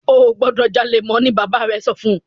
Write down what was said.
o gbódò jalè mọ! ní bàbá rẹ sọfún!